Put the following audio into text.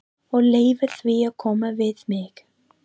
Og leyfa því að koma við mig.